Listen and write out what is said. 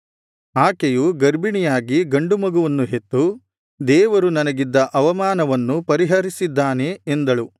ಆಕೆಯು ಗರ್ಭಿಣಿಯಾಗಿ ಗಂಡು ಮಗುವನ್ನು ಹೆತ್ತು ದೇವರು ನನಗಿದ್ದ ಅವಮಾನವನ್ನು ಪರಿಹರಿಸಿದ್ದಾನೆ ಎಂದಳು